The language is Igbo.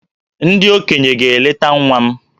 Ndị okenye ga-eleta nwa m